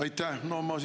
Aitäh!